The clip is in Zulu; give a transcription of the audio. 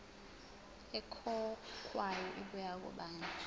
ekhokhwayo ibuya kubani